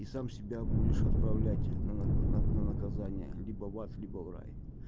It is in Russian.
и сам себя будешь отправлять на на наказание либо в ад либо в рай